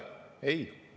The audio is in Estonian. Ei!